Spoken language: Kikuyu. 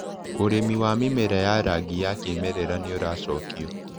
ũrĩmi wa mĩmera ya rangi ya kĩmerera nĩũracokio.